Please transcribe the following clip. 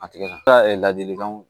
A tigila ladilikanw